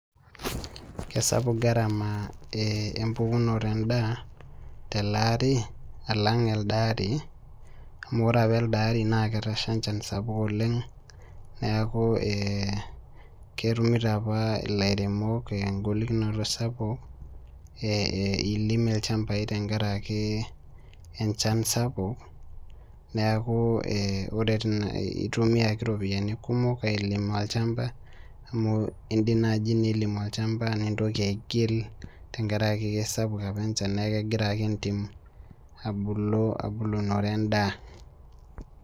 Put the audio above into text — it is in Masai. Kesapuk garama empukunoto endaa, telaari alang elde aari, amu ore apa elde ari naa ketasha enchan sapuk oleng, neeku ketumito apa ilairemok egolikinoto sapuk, ilim ilchambai tenkaraki enchan sapuk, neeku ore itumiaki ropiyiani kumok, ailima olchamba, amu idim naji nilim olchamba nintoki aigil tenkaraki kesapuk apa enchan neku kegira ake entim abulu, abulunore endaa.